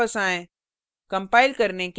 terminal पर वापस आएँ